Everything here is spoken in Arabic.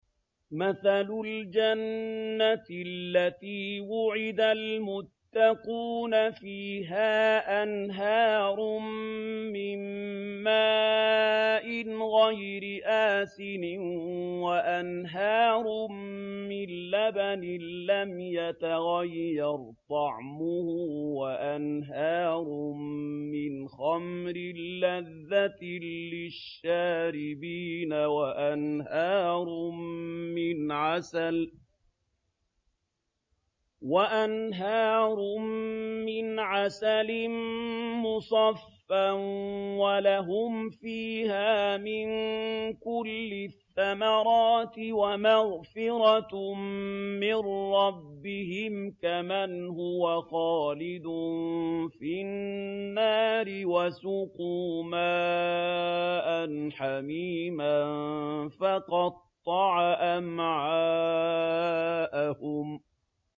مَّثَلُ الْجَنَّةِ الَّتِي وُعِدَ الْمُتَّقُونَ ۖ فِيهَا أَنْهَارٌ مِّن مَّاءٍ غَيْرِ آسِنٍ وَأَنْهَارٌ مِّن لَّبَنٍ لَّمْ يَتَغَيَّرْ طَعْمُهُ وَأَنْهَارٌ مِّنْ خَمْرٍ لَّذَّةٍ لِّلشَّارِبِينَ وَأَنْهَارٌ مِّنْ عَسَلٍ مُّصَفًّى ۖ وَلَهُمْ فِيهَا مِن كُلِّ الثَّمَرَاتِ وَمَغْفِرَةٌ مِّن رَّبِّهِمْ ۖ كَمَنْ هُوَ خَالِدٌ فِي النَّارِ وَسُقُوا مَاءً حَمِيمًا فَقَطَّعَ أَمْعَاءَهُمْ